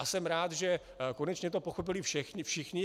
A jsem rád, že to konečně pochopili všichni.